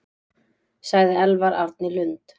Sagði Elvar Árni Lund.